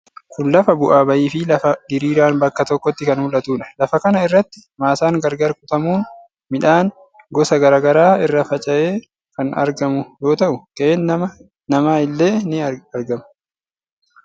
Kun lafa bu'aa bayii fi lafa diriiraan bakka tokkotti kan mul'atudha. Lafa kana irratti maasaan gargar kutamuun midhaan gosa garaa garaa irra faca'ee kan argamu yoo ta'u, qe'een nama illee ni argama.